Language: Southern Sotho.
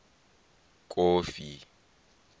kofi